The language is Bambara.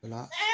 O la